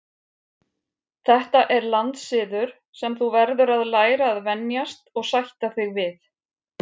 Þetta er landssiður sem þú verður að læra að venjast og sætta þig við.